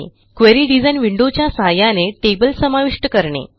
query design विंडोच्या सहाय्याने table समाविष्ट करणे